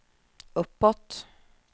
uppåt